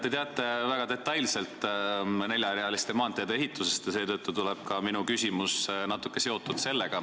Te teate väga detailselt neljarealiste maanteede ehituse seisu ja seetõttu on ka minu küsimus natuke sellega seotud.